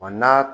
Wa n'a